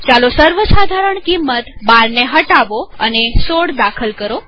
ચાલો સર્વસાધારણ કિંમત ૧૨ ને હટાવો અને ૧૬ લખો